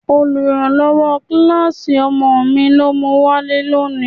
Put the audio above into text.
Oluranlowo kíláàsì ọmọ mi ló mu wálé lónìí.